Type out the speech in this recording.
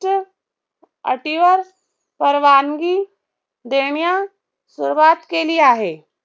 अटीवर परवानगी देण्यास सुरवात केली आहे.